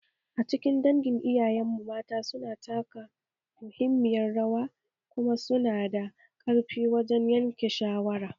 A cikin dangin iyayenmu mata, mata su na taka muhimmiyar rawa kuma su na da ƙarfi wajen yanke shawara